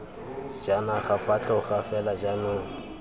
sejanaga fa tloga fela jaanong